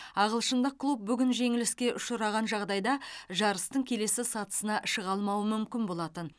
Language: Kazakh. ағылшындық клуб бүгін жеңіліске ұшыраған жағдайда жарыстың келесі сатысына шыға алмауы мүмкін болатын